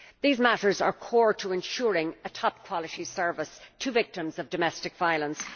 These matters are core to ensuring a top quality service for victims of domestic violence.